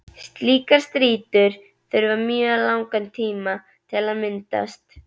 Slíkar strýtur þurfa mjög langan tíma til að myndast.